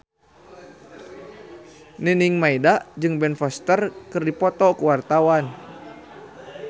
Nining Meida jeung Ben Foster keur dipoto ku wartawan